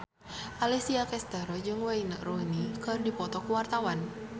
Alessia Cestaro jeung Wayne Rooney keur dipoto ku wartawan